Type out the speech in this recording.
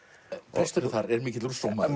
presturinn þar er mikill Rousseau maður